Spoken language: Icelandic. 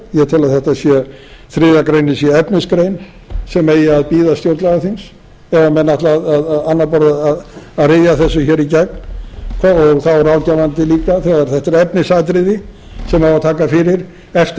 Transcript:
ég tel að þriðju grein sé efnisgrein sem eigi að bíða stjórnlagaþings ef menn ætla á annað borð að ryðja þessu hér í gegn og þá ráðgefandi líka þegar þetta er efnisatriði sem á að taka fyrir eftir að við